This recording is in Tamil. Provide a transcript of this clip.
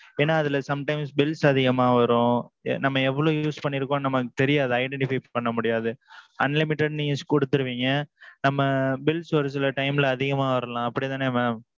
ஏன்னா அதுல sometimes bills அதிகமா வரும். நம்ம எவ்வளவு use பண்ணிருக்கோம்னு நமக்கு தெரியாது. identify பன்ன முடியாது unlimited நீங்க குடுத்திருவீங்க. நம்ம bills ஒரு சில time ல அதிகமா வரலாம் அப்பிடி தானே mam?